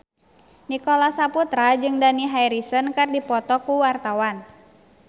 Nicholas Saputra jeung Dani Harrison keur dipoto ku wartawan